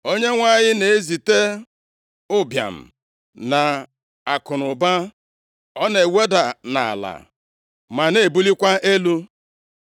Onyenwe anyị na-ezite ụbịam na akụnụba; ọ na-eweda nʼala, ma na-ebulikwa elu.